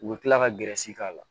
U bɛ tila ka k'a la